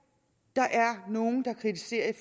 der er nogle der kritiserer